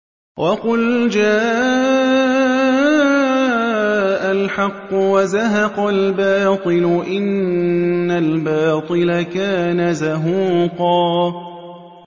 وَقُلْ جَاءَ الْحَقُّ وَزَهَقَ الْبَاطِلُ ۚ إِنَّ الْبَاطِلَ كَانَ زَهُوقًا